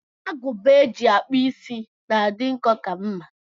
Agụba eji akpụ is na-adị nkọ ka mma.